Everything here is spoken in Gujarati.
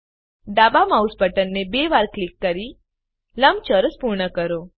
ડાબા માઉસ બટનને બે વાર ક્લિક કરીને લંબચોરસ પૂર્ણ કરો